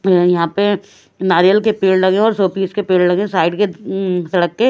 यहां पे नारियल के पेड़ लगे हैं और शोपीस के पेड़ लगे हैं साइड के सड़क के--